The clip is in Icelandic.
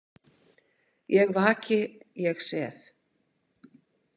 Ég vaki, ég sef.